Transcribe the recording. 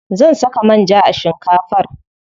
Zan saka manja a shinkafar.